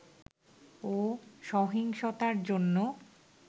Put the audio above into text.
ও সহিংসতার জন্য